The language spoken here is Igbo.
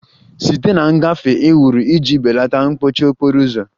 Site na ngafe e wuru iji belata mkpọchi okporo ụzọ